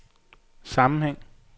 sammenhæng